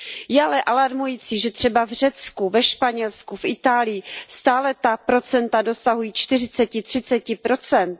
Je ale alarmující, že třeba v Řecku, ve Španělsku, v Itálii stále ta procenta dosahují čtyřiceti, třiceti procent.